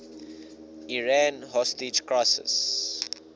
iran hostage crisis